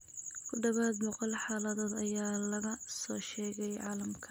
Ku dhawaad ​boqol xaaladood ayaa laga soo sheegay caalamka.